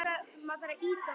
Til hennar þarf mikla orku.